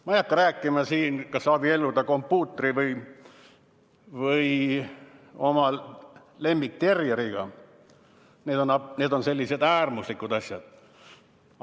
Ma ei hakka rääkima siin, kas võib abielluda kompuutri või oma lemmikterjeriga, need on sellised äärmuslikud asjad.